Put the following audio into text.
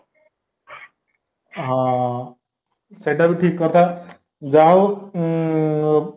ହଁ ସେଇଟାବି ଠିକକଥା ଯାହାହଉ ଉଁ